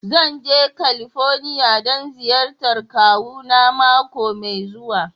Zan je California don ziyartar kawuna mako mai zuwa.